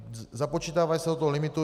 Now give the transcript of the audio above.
Započítávají se do toho limitu.